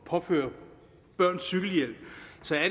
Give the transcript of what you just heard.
påføre børn cykelhjelm